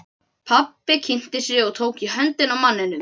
Pabbi kynnti sig og tók í höndina á manninum.